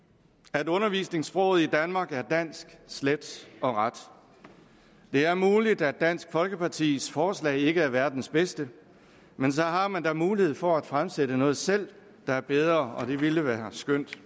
at undervisningssproget i danmark var dansk slet og ret det er muligt at dansk folkepartis forslag ikke er verdens bedste men så har man da mulighed for at fremsætte noget selv der er bedre og det ville være skønt